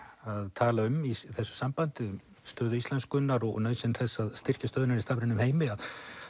tala um í þessu sambandi um stöðu íslenskunnar og nauðsyn þess að styrkja stöðu hennar í stafrænum heimi að